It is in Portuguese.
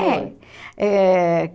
Eh